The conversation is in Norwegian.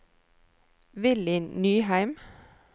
Willy Nyheim